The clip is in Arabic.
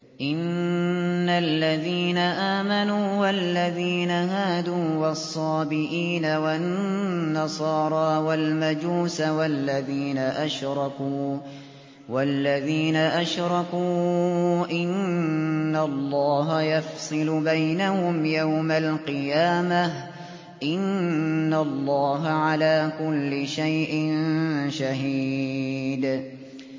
إِنَّ الَّذِينَ آمَنُوا وَالَّذِينَ هَادُوا وَالصَّابِئِينَ وَالنَّصَارَىٰ وَالْمَجُوسَ وَالَّذِينَ أَشْرَكُوا إِنَّ اللَّهَ يَفْصِلُ بَيْنَهُمْ يَوْمَ الْقِيَامَةِ ۚ إِنَّ اللَّهَ عَلَىٰ كُلِّ شَيْءٍ شَهِيدٌ